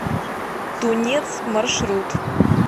тунец маршрут